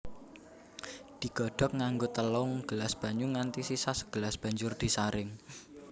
Digodhog nganggo telung gelas banyu nganti sisa sagelas banjur disaring